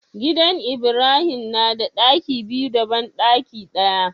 Gidan ibrahim nada ɗaki biyu da banɗaki daya